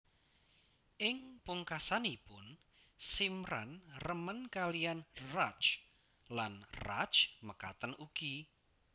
Ing pungkasanipun Simran remen kaliyan Raj lan Raj mekaten ugi